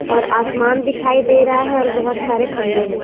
और आसमान दिखाई दे रहा है और बहोत सारे खंबे हैं।